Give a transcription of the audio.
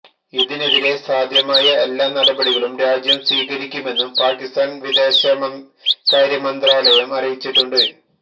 ഇതിനെതിരെ സാധ്യമായ എല്ലാ നടപടികളും രാജ്യം സ്വീകരിക്കുമെന്നും പാകിസ്ഥാന് വിദേശകാര്യമന്ത്രാലയം അറിയിച്ചിട്ടുണ്ട്